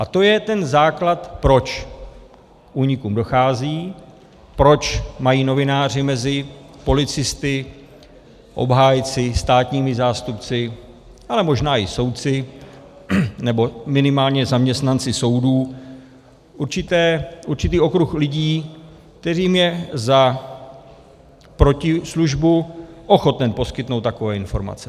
A to je ten základ, proč k únikům dochází, proč mají novináři mezi policisty, obhájci, státními zástupci, ale možná i soudci, nebo minimálně zaměstnanci soudů určitý okruh lidí, kterým je za protislužbu ochoten poskytnout takové informace.